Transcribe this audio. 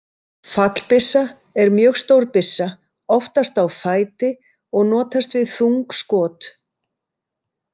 Fallbyssa er mjög stór byssa, oftast á fæti, og notast við þung skot.